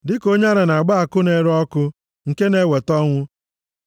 Dịka onye ara na-agba àkụ na-ere ọkụ nke na-eweta ọnwụ,